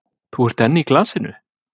Þú ert enn í glasinu?